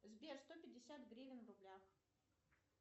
сбер сто пятьдесят гривен в рублях